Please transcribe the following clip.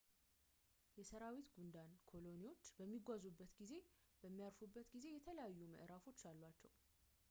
የሰራዊት ጉንዳን ኮሎኒዎች በሚጓዙበት እና በሚያርፉበት ጊዜ የተለያዩ ምዕራፎች አሏቸው